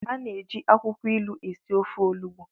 A na-eji akwukwo ilu esi ofe onugbu.